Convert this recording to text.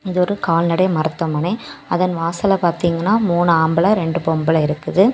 இது ஒரு கால்நடை மருத்துவமனை அதன் வாசல்ல பாத்தீங்கன்னா மூணு ஆம்பள ரெண்டு பொம்பள இருக்குது.